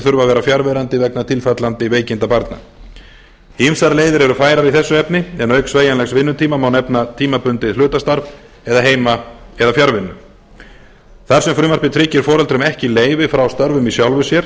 þurfa að vera fjarverandi vegna tilfallandi veikinda barna mat leiðir eru færar í þessu efni en auk sveigjanlegs vinnutíma má nefna tímabundið hlutastarf eða heima eða fjarvinnu þar sem frumvarpið tryggir foreldrum ekki leyfi frá störfum í sjálfu sér